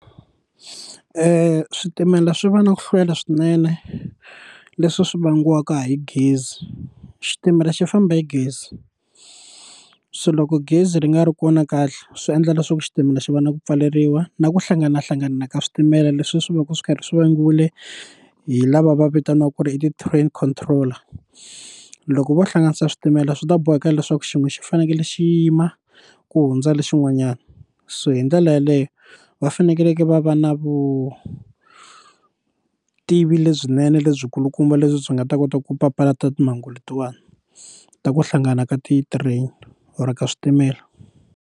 switimela swi va na ku hlwela swinene leswi swi vangiwaka hi gezi xitimela xi famba hi gezi so loko gezi ri nga ri kona kahle swi endla leswaku xitimela xi va na ku pfaleriwa na ku hlanganahlangana ka switimela leswi swi va ka swi karhi swi vangiwile hi lava va vitaniwaka ku ri i ti-train control loko vo hlanganisa switimela swi ta boheka leswaku xin'we xi fanekele xi yima ku hundza lexin'wanyana so hi ndlela yaleyo va fanekeleke va va na vutivi lebyinene lebyikulukumba lebyi byi nga ta kota ku papalata timhangu letiwani ta ku hlangana ka ti-train or ka switimela.